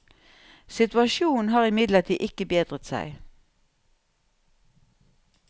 Situasjonen har imidlertid ikke bedret seg.